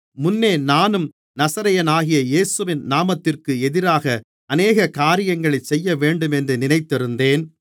முன்னே நானும் நசரேயனாகிய இயேசுவின் நாமத்திற்கு எதிராக அநேக காரியங்களைச் செய்யவேண்டுமென்று நினைத்திருந்தேன்